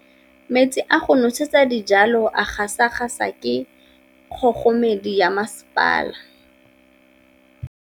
Metsi a go nosetsa dijalo a gasa gasa ke kgogomedi ya masepala.